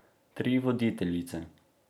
Tri voditeljice.